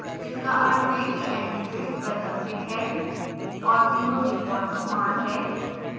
इसका अर्थ है कि ndigits वैकल्पिक है और 0 डिफॉल्ट मान है